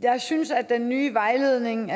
jeg synes at den nye vejledning